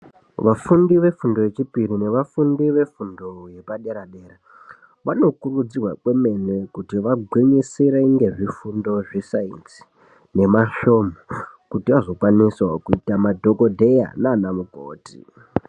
Vafundi vefundo yechipiri nevafundi vefundo yepadera-dera vanokurudzirwa kwemene kuti vagwinyisire ngezvifundo zvesainzi nemasvomhu kuti vazokwanisawo kuita madhokodheya nana mukoti.